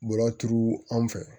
Bɔlɔlɔ turu an fɛ